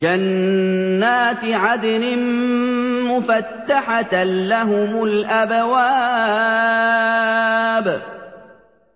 جَنَّاتِ عَدْنٍ مُّفَتَّحَةً لَّهُمُ الْأَبْوَابُ